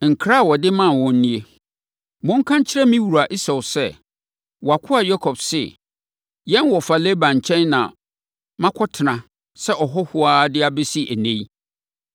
Nkra a ɔde maa wɔn nie: “Monka nkyerɛ me wura Esau sɛ, ‘Wʼakoa Yakob se, yɛn wɔfa Laban nkyɛn na makɔtena sɛ ɔhɔhoɔ ara de bɛsi ɛnnɛ yi.